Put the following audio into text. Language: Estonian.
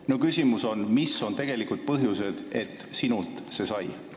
Minu küsimus on, mis on tegelikud põhjused, et sinult see heakskiidu sai.